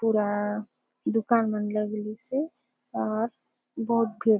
पुरा दुकान मन लगलिसे अउर बहोत भीड़ --